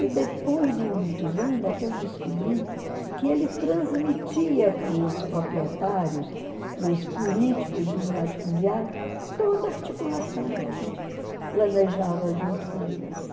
E depois de muitos anos é que eu descobri que ele transmitia para os proprietários, para os políticos e os latifundiários, toda a articulação que a gente planejava junto com eles.